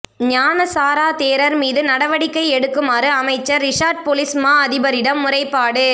ஞான சார தேரர் மீது நடவடிக்கை எடுக்குமாறு அமைச்சர் ரிஷாட் பொலிஸ் மா அதிபரிடம் முறைப்பாடு